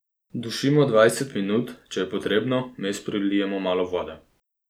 Dušimo dvajset minut, če je potrebno, vmes prilijemo malo vode.